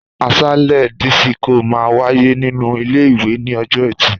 Àsálé dísíkò máa wáyé nínú ilé ìwé ní ọjọ́ ẹtì